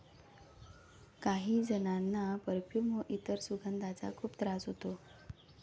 काही जणांना परफ्यूम व इतर सुगंधांचा खूप त्रास होतो.